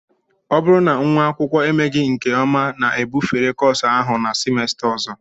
Ọ bụrụ na nwa akwụkwọ emeghị nke ọma na-ebufere kọọsụ ahụ na simesta ọzọ